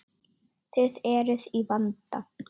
Þið eruð í vanda.